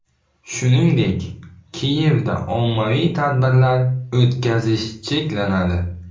Shuningdek, Kiyevda ommaviy tadbirlar o‘tkazish cheklanadi.